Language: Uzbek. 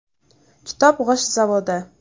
Kitob g‘isht zavodi.